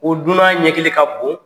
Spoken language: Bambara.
Ko dunan ɲɛkili ka bon